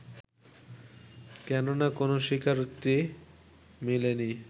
কেননা কোনো ‘স্বীকারোক্তি’ মিলেনি